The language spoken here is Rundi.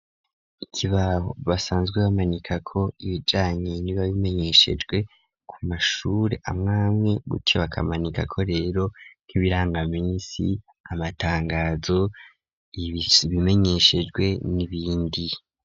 Ikibaho basanzwe bamanika ko ibijanye ntiba bimenyeshejwe ku mashuri amwamwe gutyo bakamanika ko rero nk'imirangaminsi amatangazo ibimenyeshejwe n'ibindi.